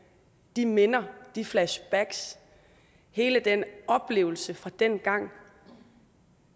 de minder de flashbacks hele den oplevelse fra dengang